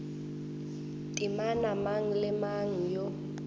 temana mang le mang yo